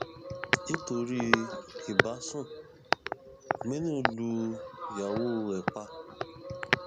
nítorí ìbásun aminu lu ìyàwó ẹ pa